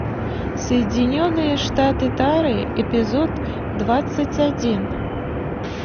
соединенные штаты тары эпизод двадцать один